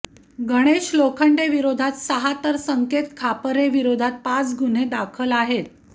गणेश लोखंडे विरोधात सहा तर संकेत खापरे विरोधात पाच गुन्हे दाखल आहेत